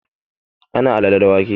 Ana alale da wake